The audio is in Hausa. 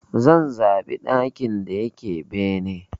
Zan zaɓa ɗakin da yake bene.